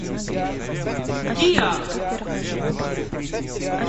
диа